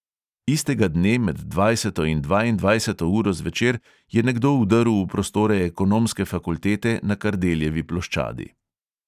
Istega dne med dvajseto in dvaindvajseto uro zvečer je nekdo vdrl v prostore ekonomske fakultete na kardeljevi ploščadi.